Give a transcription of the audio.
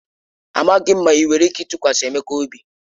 Amaghị m ma enwere ike ịtụkwasị Emeka obi..